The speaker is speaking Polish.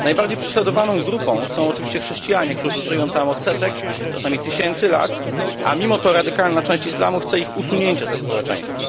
Najbardziej prześladowaną grupą są oczywiście chrześcijanie, którzy żyją tam od setek, czasem tysięcy lat, a mimo to radykalna część islamu chce ich usunięcia ze społeczeństwa.